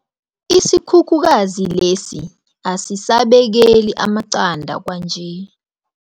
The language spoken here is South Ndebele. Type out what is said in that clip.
Isikhukhukazi lesi asisabekeli amaqanda kwanje.